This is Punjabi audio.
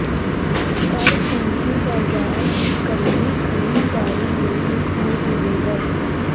ਪਰ ਪੂੰਜੀ ਬਜ਼ਾਰ ਇਕੱਲੀ ਖਰੀਦਦਾਰੀ ਲਈ ਮਸ਼ਹੂਰ ਨਹੀਂ ਹੈ